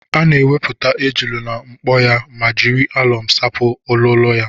Ana ewepụta ejula na mkpo ya ma jiri alọm sapụ olụlọ ya.